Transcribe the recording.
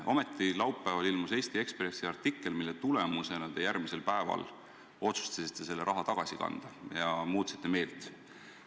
Ometi, laupäeval ilmus Eesti Ekspressi artikkel ja selle tulemusena otsustasite te järgmisel päeval selle raha tagasi kanda, muutsite meelt.